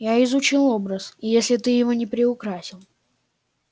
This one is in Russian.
я изучил образ и если ты его не приукрасил